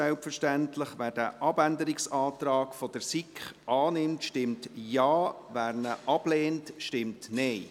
Wer den Abänderungsantrag der SiK annimmt, stimmt Ja, wer diesen ablehnt, stimmt Nein.